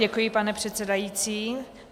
Děkuji, pane předsedající.